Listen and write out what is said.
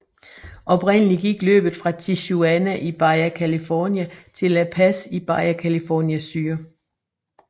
Oprindeligt gik løbet fra Tijuana i Baja California til La Paz i Baja California Sur